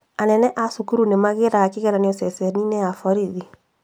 Anene a cukuru nĩmagĩraga kĩgeranio ceceni-inĩ ya borithi